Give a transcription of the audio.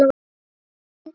Hvar stendur þetta?